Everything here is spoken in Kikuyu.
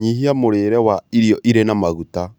Nyihia mũrĩre wa irio irĩ na maguta